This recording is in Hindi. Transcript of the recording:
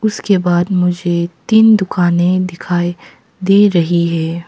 उसके बाद मुझे तीन दुकाने दिखाई दे रही है।